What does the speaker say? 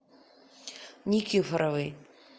никифоровой